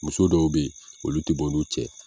Muso dɔw be ye olu te bɔ n'u cɛ